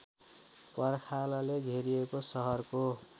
पर्खालले घेरिएको सहरको